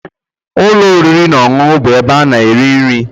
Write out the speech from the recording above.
Ụlọ oriri na ọṅụṅụ bụ ebe ị na-eri nri